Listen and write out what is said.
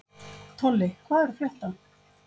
Tolli, hvað er að frétta?